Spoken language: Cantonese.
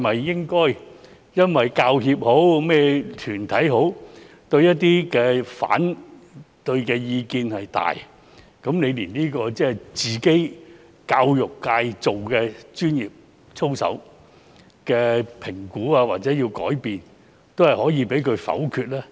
因為那些強烈的反對意見，就連對他們教育界自己訂立的專業操守作出評估或改變，也能被他們否決呢？